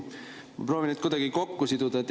Ma proovin need kuidagi kokku siduda.